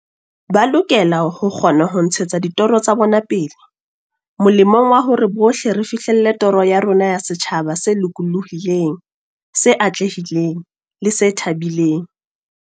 Ba lokela ho kgona ho ntshetsa ditoro tsa bona pele molemong wa hore bohle re fihlelle toro ya rona ya setjhaba se lokolohileng, se atlehileng le se thabileng.